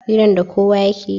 hiran da kowa yakeyi